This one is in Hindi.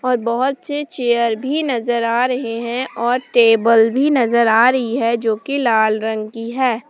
और बहुत से चेयर भी नजर आ रहे हैं और टेबल भी नजर आ रही है जो की लाल रंग की है।